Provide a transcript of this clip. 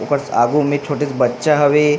ऊपर से आगू होने छोटे से बच्चा हवे।